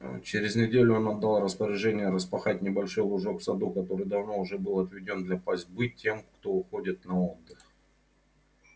через неделю он отдал распоряжение распахать небольшой лужок в саду который давно уже был отведён для пастьбы тем кто уходит на отдых